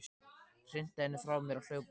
Hrinti henni frá mér og hljóp inn.